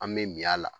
An bɛ min y'a la